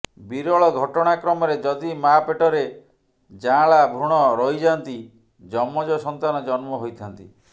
ବିରଳ ଘଟଣାକ୍ରମରେ ଯଦି ମା ପେଟରେ ଯାଆଁଳା ଭ୍ରୁଣ ରହିଯାନ୍ତି ଯମଜ ସନ୍ତାନ ଜନ୍ମ ହୋଇଥାନ୍ତି